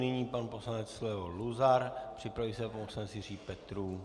Nyní pan poslanec Leo Luzar, připraví se pan poslanec Jiří Petrů.